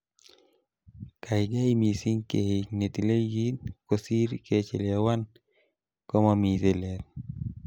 Kaigai missing keik netile kit, kosiir kechelewan komomi tilet.